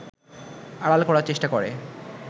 আড়াল করার চেষ্টা করে